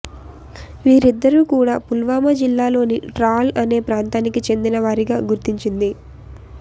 వీరిద్దరు కూడా పుల్వామా జిల్లాలోని ట్రాల్ అనే ప్రాంతానికి చెందిన వారిగా గుర్తించింది